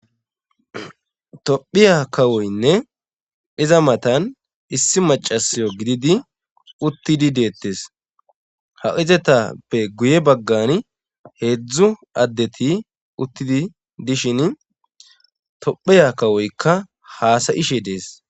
Tophiya kawoynne iza matan issi macasiyo gididi uttidi deettes ha izetappe guye baggan heedzdzu addeti uttidi dishin tophiya kawoykka haasayishe dees